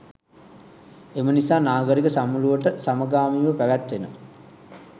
එම නිසා නාගරික සමුළුවට සමගාමීව පැවැත්වෙන